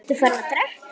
Ertu farinn að drekka?